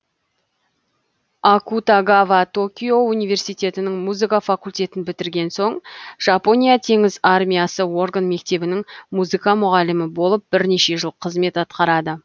акутагава токио университетінің музыка факультетін бітірген соң жапония теңіз армиясы орган мектебінің музыка мұғалімі болып бірнеше жыл қызмет атқарады